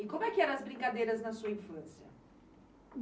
E como é que eram as brincadeiras na sua infância?